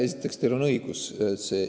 Esiteks, teil on õigus.